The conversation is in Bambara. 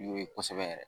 N'o ye kosɛbɛ yɛrɛ